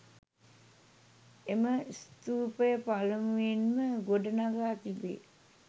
එම ස්ථූපය පළමුවෙන්ම ගොඩ නඟා තිබේ.